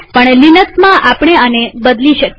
પણ લિનક્સમાંઆપણે આને બદલી શકીએ